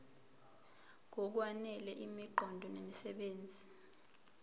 ngokwanele imiqondo nemisebenzi